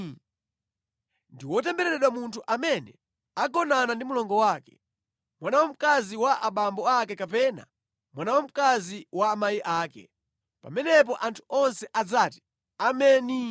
“Ndi wotembereredwa munthu amene agonana ndi mlongo wake, mwana wamkazi wa abambo ake kapena mwana wamkazi wa amayi ake.” Pamenepo anthu onse adzati, “Ameni!”